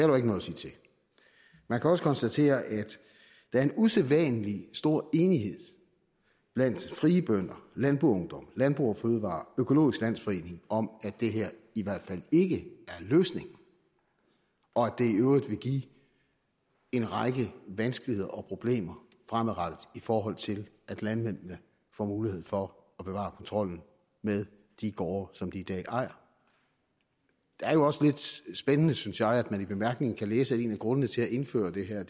jo ikke noget sige til man kan også konstatere at der er en usædvanlig stor enighed blandt frie bønder landboungdom landbrug fødevarer økologisk landsforening om at det her i hvert fald ikke er en løsning og at det i øvrigt vil give en række vanskeligheder og problemer fremadrettet i forhold til at landmændene får mulighed for at bevare kontrollen med de gårde som de i dag ejer det er jo også lidt spændende synes jeg at man i bemærkningerne kan læse at en af grundene til at indføre det her er